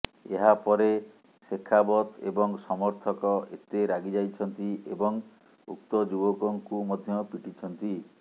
ଏହାପରେ ଶେଖାବତ ଏବଂ ସମର୍ଥକ ଏତେ ରାଗିଯାଇଛନ୍ତି ଏବଂ ଉକ୍ତ ଯୁବକଙ୍କୁ ମଧ୍ୟ ପିଟିଛନ୍ତି